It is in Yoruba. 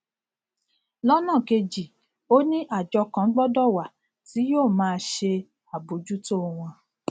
lọnà kejì ó ní àjọ kan gbọdọ wà tí yóò máa ṣe àbójútó wọn